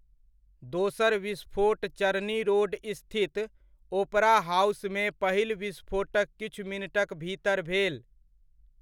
दोसर विस्फोट चरनी रोड स्थित ओपरा हाउसमे पहिल विस्फोटक किछु मिनटक भीतर भेल।